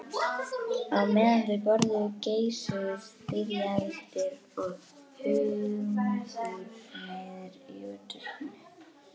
Á meðan þau borðuðu geisuðu styrjaldir og hungursneyðir í útvarpinu.